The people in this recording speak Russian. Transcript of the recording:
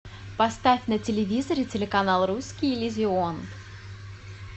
поставь на телевизоре телеканал русский иллюзион